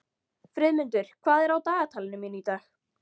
Friðmundur, hvað er á dagatalinu mínu í dag?